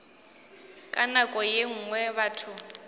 ka nako ye nngwe batho